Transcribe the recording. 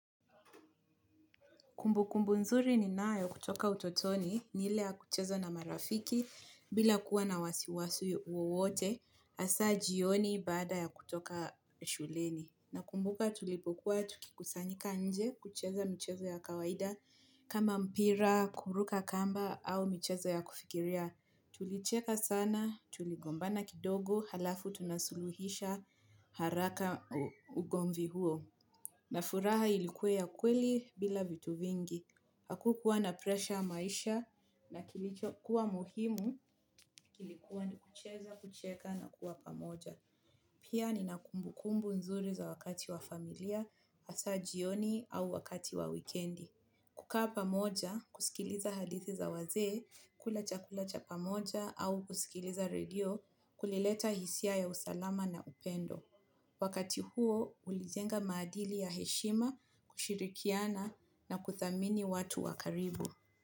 Kumbukumbu nzuri ninayo kutoka utotoni ni ile ya kucheza na marafiki bila kukuwa na wasiwasi wowote hasa jioni baada ya kutoka shuleni. Na kumbuka tulipokuwa tukikusanyika nje kucheza mchezo ya kawaida kama mpira, kuruka kamba au michezo ya kufikiria tulicheka sana, tuligombana kidogo, halafu tunasuluhisha haraka ugomvi huo. Na furaha ilikuwa ya kweli bila vitu vingi, hakukuwa na presha maisha na kilichokuwa muhimu kilikuwa ni kucheza, kucheka na kuwa pamoja. Pia nina kumbukumbu nzuri za wakati wa familia, hasa jioni au wakati wa wikendi. Kukaa pamoja kusikiliza hadithi za wazee kula chakula cha pamoja au kusikiliza redio kulileta hisia ya usalama na upendo. Wakati huo ulijenga maadili ya heshima kushirikiana na kuthamini watu wa karibu.